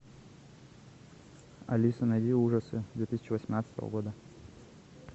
алиса найди ужасы две тысячи восемнадцатого года